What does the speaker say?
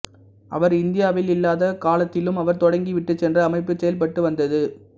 அவர் இந்தியாவில் இல்லாத காலத்திலும் அவர் தொடங்கி விட்டுச்சென்ற அமைப்பு செயல்பட்டு வந்தது